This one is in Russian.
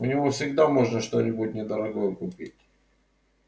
у него всегда можно что-нибудь недорогое купить